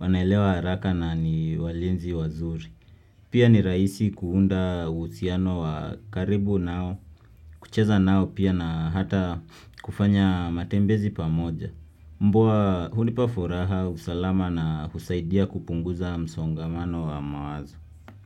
wanaelewa haraka na ni walinzi wazuri. Pia ni rahisi kuunda uhusiano wa karibu nao, kucheza nao pia na hata kufanya matembezi pamoja. Mbwa hunipa furaha usalama na husaidia kupunguza msongamano wa mawazo.